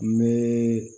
N bɛ